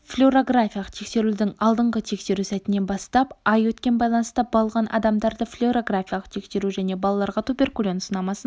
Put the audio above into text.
флюорографиялық тексерілудің алдыңғы тексеру сәтінен бастап ай өткен байланыста болған адамдарды флюорографиялық тексеру және балаларға туберкулин сынамасын